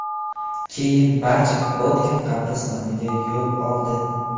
Keyin barcha Botkin qabristoniga yo‘l oldi.